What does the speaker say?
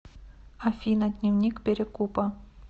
афина дневник перекупа